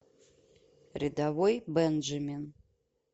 рядовой бенджамин